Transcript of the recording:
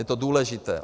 Je to důležité.